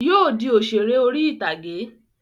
Yóò di òṣèré orí ìtàgé